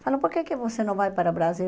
Falou, por que que você não vai para o Brasil?